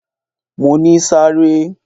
Mo ní sáré!